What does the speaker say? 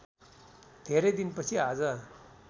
धेरै दिनपछि आज